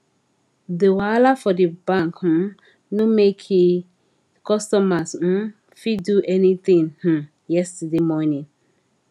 di wahala for di bank um no make e customers um fit do any tin um yesterday morning